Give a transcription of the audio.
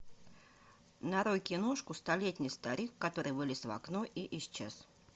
нарой киношку столетний старик который вылез в окно и исчез